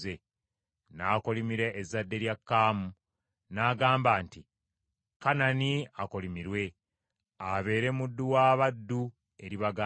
N’akolimira ezzadde lya Kaamu n’agamba nti, “Kanani akolimirwe, abeere muddu wa baddu eri baganda be.”